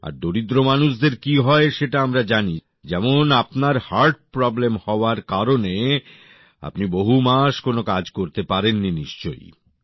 আর দরিদ্র মানুষদের কী হয় সেটা আমরা জানি যেমন আপনার হার্ট প্রব্লেম হওয়ার কারণে আপনি বহু মাস কোন কাজ করতে পারেননি নিশ্চয়